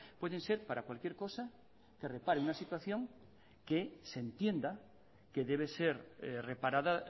pueden ser para cualquier cosa que repare una situación que se entienda que debe ser reparada